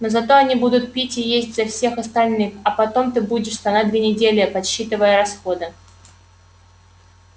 но зато они будут пить и есть за всех остальных а потом ты будешь стонать две недели подсчитывая расходы